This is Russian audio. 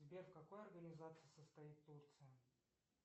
сбер в какой организации состоит турция